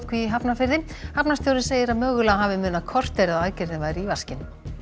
í Hafnarfirði hafnarstjórinn segir að mögulega hafi munað korteri að aðgerðin færi í vaskinn